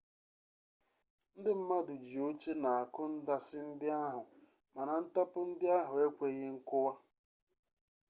ndị mmadụ ji oche na-akụ ndasị ndị ahụ mana ntapu ndị ahụ ekweghi nkụwa